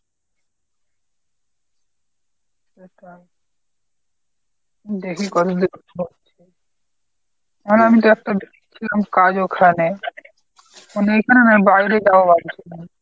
সেটাই। দেখি কদিন এখন আমি তো একটা কাজ ওখানে মানে এখানে নয় বাইরে যাব ভাবছি।